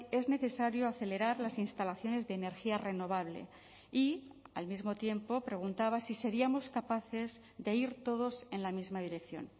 es necesario acelerar las instalaciones de energía renovable y al mismo tiempo preguntaba si seríamos capaces de ir todos en la misma dirección